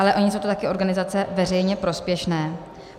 Ale ony jsou to také organizace veřejně prospěšné.